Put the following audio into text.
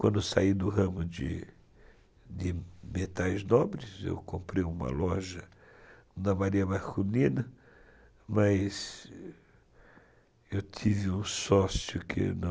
Quando eu saí do ramo de metais nobres, eu comprei uma loja na Maria Marculina, mas eu tive um sócio que não...